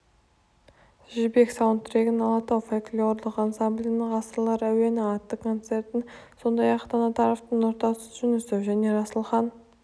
жібек саунд-трегін алатау фольклорлық ансамблінің ғасырлар әуені атты концертін сондай-ақ таңатаров нұртас жүнісов және расылхан